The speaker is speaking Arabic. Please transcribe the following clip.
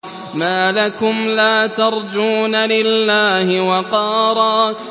مَّا لَكُمْ لَا تَرْجُونَ لِلَّهِ وَقَارًا